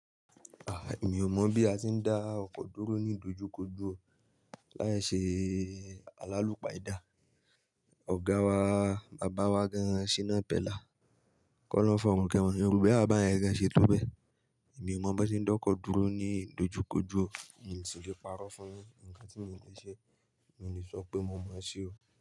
Ah, èmi ò mọ̀ bí a ti ń dá ọkọ̀ dúró ní dojúkojú láìṣe alálùpa idà. Ọ̀gá wa, bàbá wa gan, Shina Pella, kọ́ lọ́ ohun fi òrun kẹ́won. Òun ro pé bàbá yẹn gan ṣe tó bẹ. Èmi ò mọ̀ bó n ṣe ń dá ọkọ̀ dúró ní idojúkojó. Mi ò sì le parọ́ fún un. Ǹkan tí mi ò le ṣe, mi ò lè sọ pé mo mọ̀ ọ́ ṣe o.